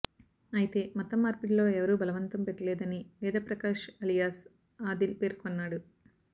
అయితే మతం మార్పిడిలో ఎవరూ బలవంతం పెట్టలేదని వేదప్రకాష్ అలియాస్ ఆదిల్ పేర్కొన్నాడు